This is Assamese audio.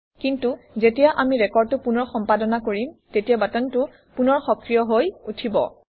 কিন্তু যেতিয়া আমি ৰেকৰ্ডটো পুনৰ সম্পাদনা কৰিম তেতিয়া বাটনটো পুনৰ সক্ৰিয় হৈ উঠিব